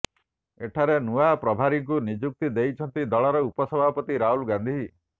ଏଠାରେ ନୂଆ ପ୍ରଭାରୀଙ୍କୁ ନିଯୁକ୍ତି ଦେଇଛନ୍ତି ଦଳର ଉପସଭାପତି ରାହୁଲ ଗାନ୍ଧି